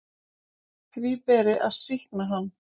Því beri að sýkna hann.